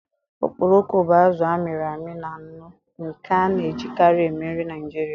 Okporoko bụ azụ a mịrị amị na nnu nke a na-ejikarị eme nri Naijiria.